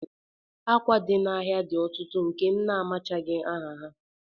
Akwa dị n'ahịa dị ọtụtụ nke na amachaghị m aha ha